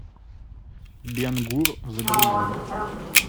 бен гур загрузи